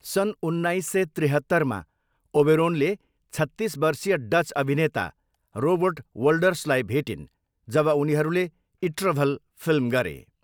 सन् उन्नाइस सय त्रिहत्तरमा ओबेरोनले छत्तिस वर्षीय डच अभिनेता रोबर्ट वोल्डर्सलाई भेटिन् जब उनीहरूले इट्रभल फिल्म गरे।